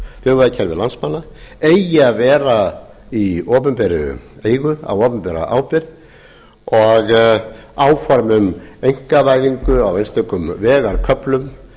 þjóðvegakerfi landsmanna eigi að vera í opinberri eigu á opinbera ábyrgð og áform um einkavæðingu á einstökum vegarköflum